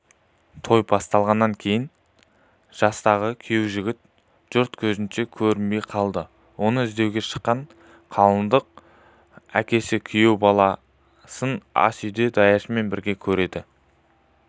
той басталғаннан кейін жастағы күйеужігіт жұрт көзіне көрінбей қалады оны іздеуге шыққан қалыңдықтың әкесі күйеу баласын асүйде даяшымен бірге көреді